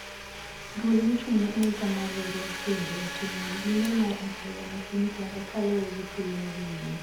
Duol mochung`ne arita mar riwruog pinje otimo limbe mar apoya ne piny congo kaluregi tulo madhinyime.